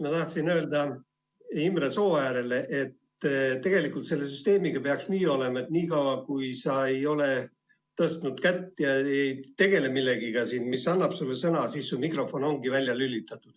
Ma tahtsin öelda Imre Sooäärele, et tegelikult selle süsteemi puhul peaks nii olema, et niikaua kui sa ei ole kätt tõstnud ega tegele siin millegagi, mis annab sulle sõna, siis su mikrofon ongi välja lülitatud.